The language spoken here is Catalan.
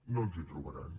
no ens hi trobaran